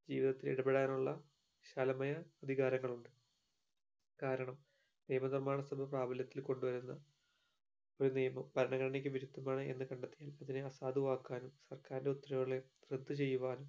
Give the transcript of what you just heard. ജീവിതത്തിൽ ഇടപെടാനുള്ള വിശാലമായ അധികാരങ്ങൾ ഉണ്ട് കാരണം നിയമ നിർമ്മാണത്തിനും പ്രാപല്യത്തിൽ കൊണ്ട് വരുന്ന ഒരു നിയമം ഭരണഘടനയ്ക്ക് വിരുദ്ധമാണ് എന്ന് കണ്ടെത്തിയാൽ അതിനെ അസാധുവാക്കാനും സർക്കാരിന്റെ ഉത്തരവുകളെ റദ്ദ് ചെയ്യുവാനും